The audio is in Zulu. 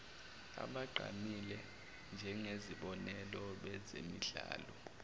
abagqamile njengezibonelo bezemidlalo